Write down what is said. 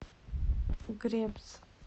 гребс